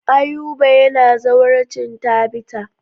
Ayuba yana zawarcin Tabita.